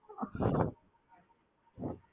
பாருங்க successfull காட்டியிருக்கு